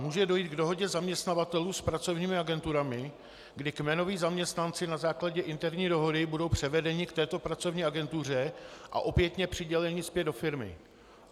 Může dojít k dohodě zaměstnavatelů s pracovními agenturami, kdy kmenoví zaměstnanci na základě interní dohody budou převedeni k této pracovní agentuře a opětně přiděleni zpět do firmy.